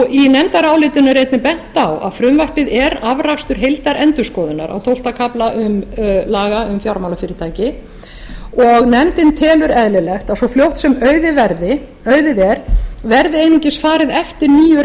í nefndarálitinu er einnig bent á að frumvarpið er afrakstur heildarendurskoðunar á tólfta kafla laga um fjármálafyrirtæki og nefndin telur eðlilegt að svo fljótt sem auðið er verði einungis farið eftir nýju